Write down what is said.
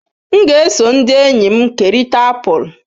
M ga-eso ndị enyi m kerịta apụl.